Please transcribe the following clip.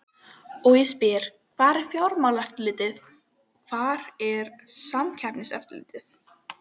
Og ég spyr hvar er Fjármálaeftirlitið, hvar er Samkeppniseftirlitið?